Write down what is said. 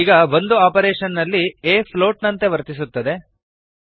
ಈಗ ಒಂದು ಆಪರೇಶನ್ ನಲ್ಲಿ a ಫ್ಲೋಟ್ ನಂತೆ ವರ್ತಿಸುತ್ತದೆ